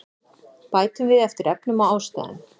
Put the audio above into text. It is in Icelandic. Bætum við eftir efnum og ástæðum